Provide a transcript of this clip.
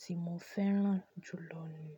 tí mo fẹ́ràn jù lọ ni.